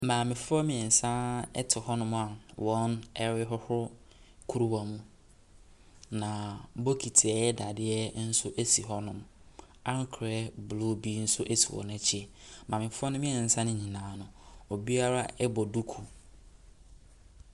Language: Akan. Maamefoɔ mmeɛnsa te hɔnom a wɔrehohoro kuruwa mu Na bokiti a ɛyɛ dadeɛ nso si hɔnom. Ankora blue bi nso si wɔn akyi. Maamefoɔ no mmeɛnsa no nyinaa no, obiara bɔ duku.